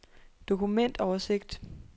dokumentoversigt